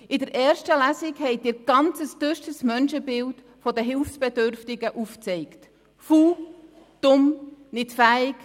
Während der ersten Lesung haben Sie ein ganz düsteres Menschenbild der Hilfsbedürftigen aufgezeigt: faul, dumm und unfähig.